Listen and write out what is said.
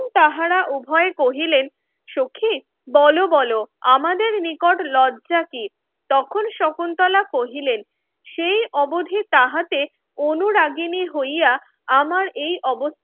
তখন তাহারা উভয়ে কহিলেন সখি বলো বলো আমাদের নিকট লজ্জা কি তখন শকুন্তলা কহিলেন সেই অবধি তাহাতে অনুরাগিণীর হইয়া আমার এই অবস্থান